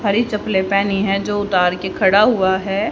हरी चप्पलें पहनी है जो उतार के खड़ा हुआ है।